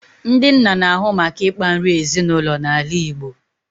Ndị nna n'ahụ maka ịkpa nri ezinụlọ na ala Igbo